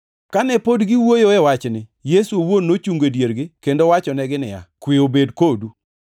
Kane pod giwuoyoe e wachni, Yesu owuon nochungo e diergi kendo wachonegi niya, “Kwe obed kodu.”